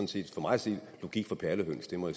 set for mig at se logik for perlehøns det må